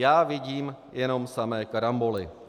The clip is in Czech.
Já vidím jenom samé karamboly.